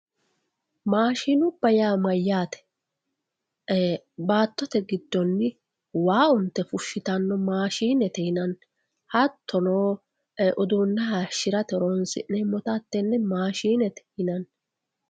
maashinubba yaa mayaate baatotte giddonni waa unte fushitanno mashiinete yinanni hattono uduune haayiishirate horonsi'neemota hatenne mashiinete yinanni